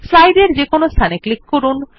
slide এর যেকোনো স্থানে ক্লিক করুন